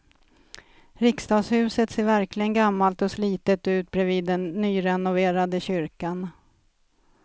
Riksdagshuset ser verkligen gammalt och slitet ut bredvid den nyrenoverade kyrkan.